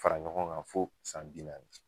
Fara ɲɔgɔn ŋan fo san bi naani